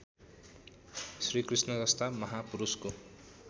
श्रीकृष्ण जस्ता महापुरुषको